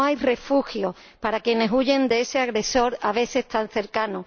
No hay refugio para quienes huyen de ese agresor, a veces tan cercano.